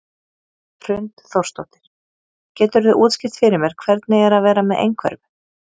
Hrund Þórsdóttir: Geturðu útskýrt fyrir mér hvernig er að vera með einhverfu?